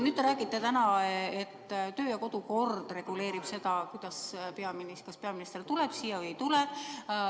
Te räägite täna, et töö- ja kodukord reguleerib seda, kas peaminister tuleb siia või ei tule.